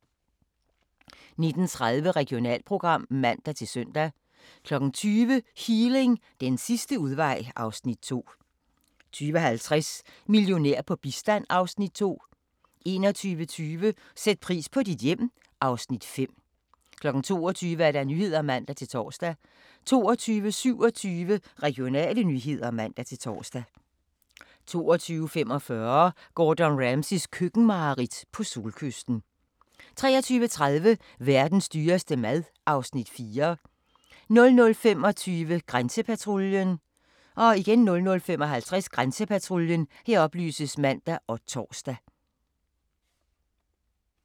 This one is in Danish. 19:30: Regionalprogram (man-søn) 20:00: Healing – den sidste udvej (Afs. 2) 20:50: Millionær på bistand (Afs. 2) 21:25: Sæt pris på dit hjem (Afs. 5) 22:00: Nyhederne (man-tor) 22:27: Regionale nyheder (man-tor) 22:45: Gordon Ramsays køkkenmareridt - på solkysten 23:30: Verdens dyreste mad (Afs. 4) 00:25: Grænsepatruljen 00:55: Grænsepatruljen (man og tor)